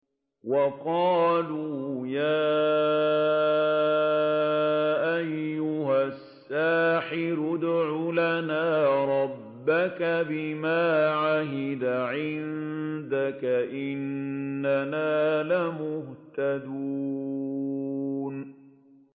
وَقَالُوا يَا أَيُّهَ السَّاحِرُ ادْعُ لَنَا رَبَّكَ بِمَا عَهِدَ عِندَكَ إِنَّنَا لَمُهْتَدُونَ